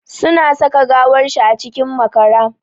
Suna saka gawar shi a cikin makara.